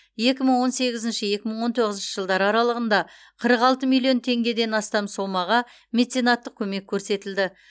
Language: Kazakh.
екі мың он сегізінші екі мың он тоғызыншы жылдар аралығында қырық алты миллион теңгеден астам сомаға меценаттық көмек көрсетілді